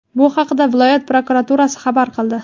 Bu haqda viloyat prokuraturasi xabar qildi.